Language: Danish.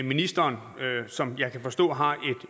ministeren som jeg kan forstå har